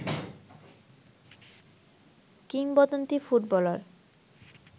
কিংবদন্তী ফুটবলার